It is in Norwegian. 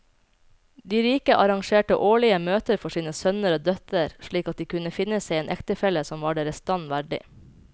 De rike arrangerte årlige møter for sine sønner og døtre slik at de kunne finne seg en ektefelle som var deres stand verdig.